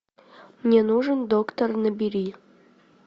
мне нужен доктор набери